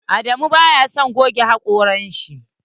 Adamu baya son goge hakoran shi.